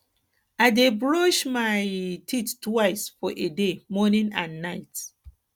i dey brush my um teeth twice for a day morning and night